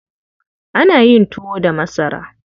Ana yin tuwo da masara.